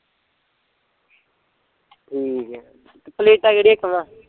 ਠੀਕ ਐ ਤੇ ਪਲੇਟਾਂ ਕਿਹੜੀਆਂ ਕਹਵਾਂ